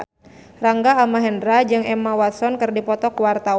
Rangga Almahendra jeung Emma Watson keur dipoto ku wartawan